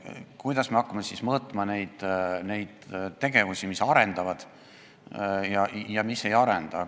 Kuidas me hakkame siis mõõtma neid tegevusi, mis arendavad või mis ei arenda?